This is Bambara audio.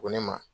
Ko ne ma